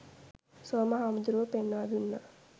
සෝම හාමුදුරුවෝ පෙන්වා දුන්නා.